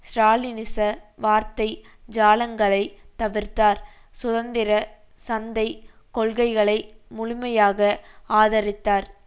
ஸ்ராலினிச வார்த்தை ஜாலங்களைத் தவிர்த்தார் சுதந்திர சந்தை கொள்கைகளை முழுமையாக ஆதரித்தார்